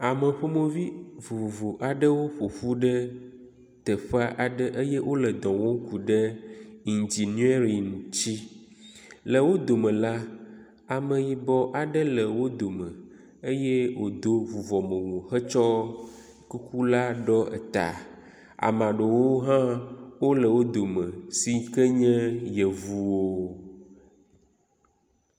Ame ƒomevi vovovo aɖewo ƒoƒu ɖe teƒe aɖe eye wo le dɔ wɔm ku ɖe Igenering tsi. Le wo dome la, ameyibɔ aɖe le wo dome eye wodo vuvɔmewu hetsɔ kuku ɖɔ ta. Ame aɖewo hã wo le wo dom si ke nye yevuwo. e